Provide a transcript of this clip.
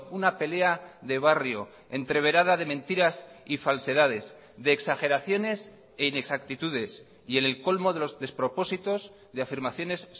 una pelea de barrio entreverada de mentiras y falsedades de exageraciones e inexactitudes y en el colmo de los despropósitos de afirmaciones